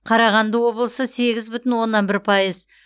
қарағанды облысы сегіз бүтін оннан бір пайыз